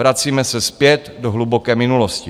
Vracíme se zpět do hluboké minulosti.